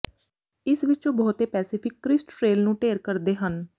ਇਸ ਵਿੱਚੋਂ ਬਹੁਤੇ ਪੈਸਿਫਿਕ ਕਰਿਸਟ ਟ੍ਰੇਲ ਨੂੰ ਢੇਰ ਕਰਦੇ ਹਨ